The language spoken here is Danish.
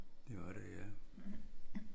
Det var det ja